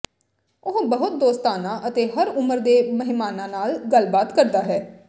ਉਹ ਬਹੁਤ ਦੋਸਤਾਨਾ ਅਤੇ ਹਰ ਉਮਰ ਦੇ ਮਹਿਮਾਨਾਂ ਨਾਲ ਗੱਲਬਾਤ ਕਰਦਾ ਹੈ